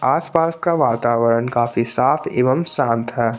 आसपास का वातावरण काफी साफ एवं शांत है।